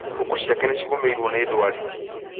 Ngũkũ ciake nĩ cigũmĩirwo nĩ ndwari